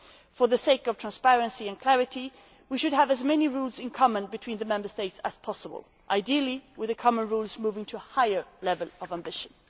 For the sake of transparency and clarity, we should have as many rules in common between the Member States as possible, ideally with the common rules moving to a higher level of ambition.